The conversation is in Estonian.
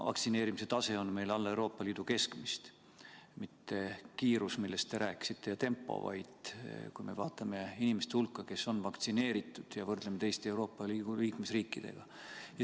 Vaktsineerimise tase on meil alla Euroopa Liidu keskmist, mitte kiirus, millest te rääkisite, vaid kui me vaatame inimeste hulka, kes on vaktsineeritud, ja võrdlemine seda teiste Euroopa Liidu liikmesriikidega.